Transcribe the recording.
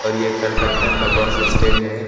और ये कलकता का बस स्टैंड है।